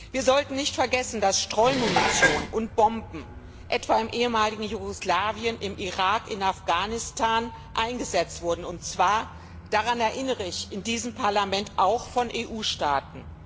Wir sollten nicht vergessen, dass Streumunition und bomben etwa im ehemaligen Jugoslawien, in Irak und in Afghanistan eingesetzt wurden, und zwar daran erinnere ich in diesem Parlament auch von EU Staaten.